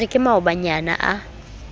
ke re ke maobanyana a